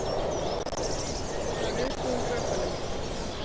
Hún var viðbúin rökunum.